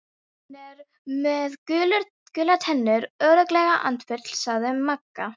Hann er með gular tennur, örugglega andfúll sagði Magga.